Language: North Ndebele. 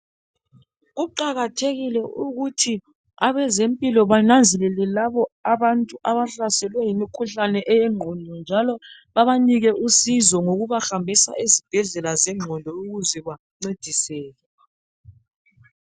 Kuqakathekile ukuthi abazempilo bananzelele labo abantu abahlaselwe yimikhuhlane eyenqondo njalo babanike usizo ngokubahambisa ezibhedlela enqondo ukuze bancediseke